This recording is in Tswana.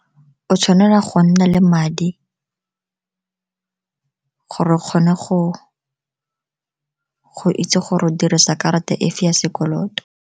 O tshwanela go nna le madi gore o kgone go itse gore go dirisa karata efevya sekoloto.